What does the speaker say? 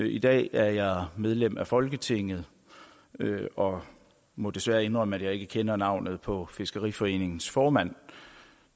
i dag er jeg medlem af folketinget og må desværre indrømme at jeg ikke kender navnet på fiskeriforeningens nuværende formand